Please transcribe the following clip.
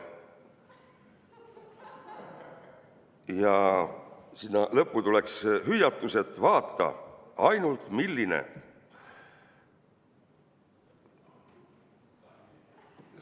" Ja sinna lõppu tuleks hüüatus: "Vaata, ainult, milline!